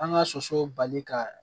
An ka soso bali ka